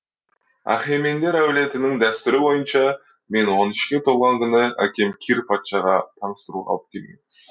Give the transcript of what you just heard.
ахемендер әулетінің дәстүрі бойынша мен он үшке толған күні әкем кир патшаға таныстыруға алып келген